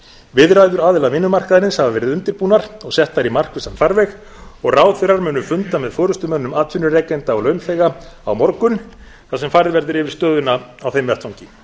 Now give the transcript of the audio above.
viðræður aðila vinnumarkaðarins hafa verið undirbúnar og settar í markvissan farveg og ráðherrar munu funda með forustumönnum atvinnurekenda og launþega á morgun þar sem farið verður yfir stöðuna á þeim vettvangi